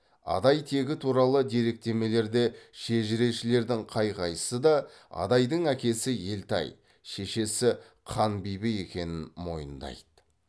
адай тегі туралы деректемелерде шежірешілердің қай қайсысы да адайдың әкесі елтай шешесі қанбибі екенін мойындайды